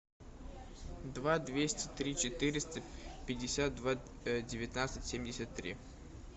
два двести три четыреста пятьдесят два девятнадцать семьдесят три